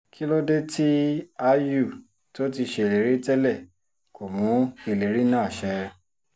kí ló dé tí áyù tó ti ṣèlérí tẹ́lẹ̀ kò mú ìlérí náà ṣẹ